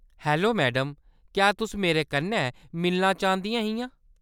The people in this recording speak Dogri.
हेलो मैडम, क्या तुस मेरे कन्नै मिलना चांह्‌‌‌दियां हियां ?